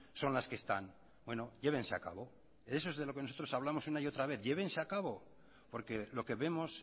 son las que están bueno llévense a cabo de eso es de lo que nosotros hablamos una y otra vez llévense a cabo porque lo que vemos